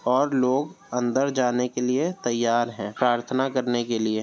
ओर लोग अंदर जाने के लिए तैयार हैं प्रार्थना करने के लिए --